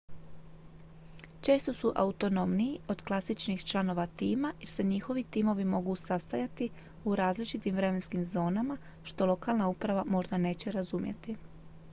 često su autonomniji od klasičnih članova tima jer se njihovi timovi mogu sastajati u različitim vremenskim zonama što lokalna uprava možda neće razumjeti